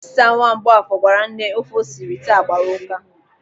Osita, nwa Mgbọafọ, gwara nne ofe o siri taa agbara ụ́ká.